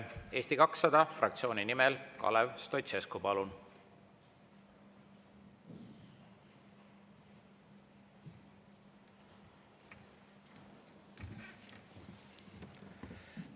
Eesti 200 fraktsiooni nimel Kalev Stoicescu, palun!